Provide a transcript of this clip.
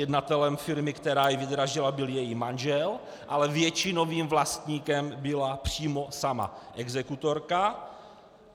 Jednatelem firmy, která ji vydražila, byl její manžel, ale většinovým vlastníkem byla přímo sama exekutorka.